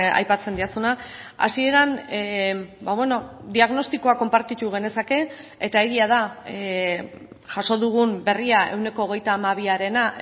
aipatzen didazuna hasieran diagnostikoa konpartitu genezake eta egia da jaso dugun berria ehuneko hogeita hamabiarena